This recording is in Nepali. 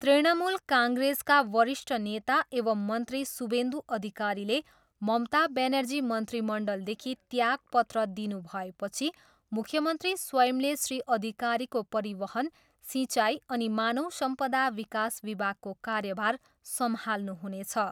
तृणमूल काङ्ग्रेसका वरिष्ठ नेता एवं मन्त्री शुभेन्दु अधिकारीले ममता ब्यानर्जी मन्त्रीमण्डलदेखि त्यागपत्र दिनुभएपछि मुख्यमन्त्री स्वयंले श्री अधिकारीको परिवहन, सिँचाइ अनि मानव सम्पदा विकास विभागको कार्यभार सम्हाल्नुहुनेछ।